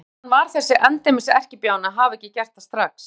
Úr því að hann var þessi endemis erkibjáni að hafa ekki gert það strax!